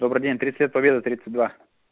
добрый день тридцать лет победы тридцать два